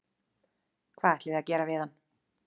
Hvað ætlið þið að gera við hann?